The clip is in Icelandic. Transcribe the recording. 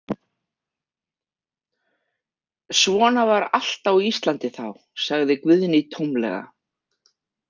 Svona var allt á Íslandi þá, sagði Guðný tómlega.